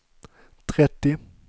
trettio